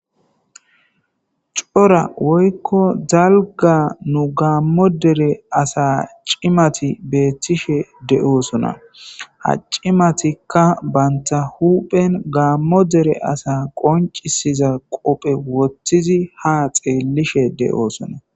cora woykko zalga nu gaammo dere asa cimati beettishe de7oosona ha cimatikka banta huphen gaammo dere asa qoncisiza qophe wothtizi ha xeellishe de7oosona